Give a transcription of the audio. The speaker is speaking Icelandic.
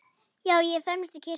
Já, ég fermist í kirkju